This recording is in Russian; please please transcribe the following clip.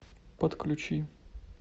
подключи